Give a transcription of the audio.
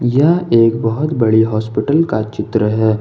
यह एक बहुत बड़ी हॉस्पिटल का चित्र है।